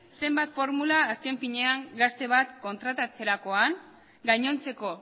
zenbat formula azken finean gazte bat kontratatzerakoan gainontzeko